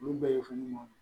Olu bɛɛ ye fɛn ɲuman ye